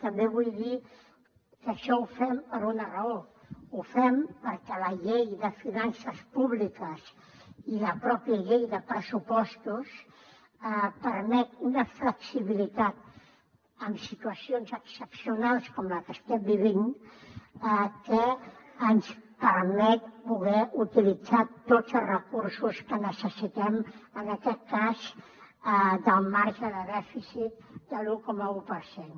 també vull dir que això ho fem per una raó ho fem perquè la llei de finances públiques i la pròpia llei de pressupostos permet una flexibilitat en situacions excepcionals com la que estem vivint que ens permet poder utilitzar tots els recursos que necessitem en aquest cas del marge de dèficit de l’un coma un per cent